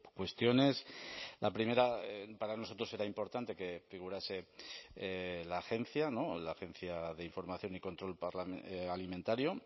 cuestiones la primera para nosotros era importante que figurase la agencia la agencia de información y control alimentario